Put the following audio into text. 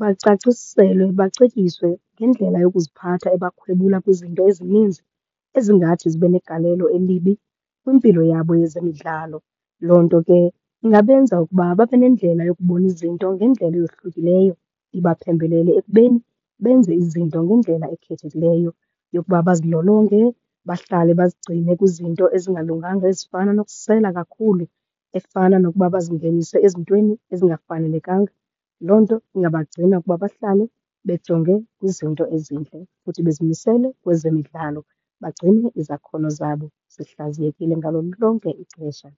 bacaciselwe bacetyiswe ngendlela yokuziphatha ebakhwebula kwizinto ezininzi ezingathi zibe negalelo elibi kwimpilo yabo yezemidlalo. Loo nto ke ingabenza ukuba babe nendlela yokubona izinto ngendlela eyohlukileyo, ibaphembelele ekubeni benze izinto ngendlela ekhethekileyo yokuba bazilolonge, bahlale bazigcine kwizinto ezingalunganga ezifana nokusela kakhulu, efana nokuba bazingenise ezintweni ezingafanelekanga. Loo nto ingabagcina ukuba bahlale bejonge kwizinto ezintle futhi bezimisele kwezemidlalo, bagcine izakhono zabo zihlaziyekile ngalo lonke ixesha.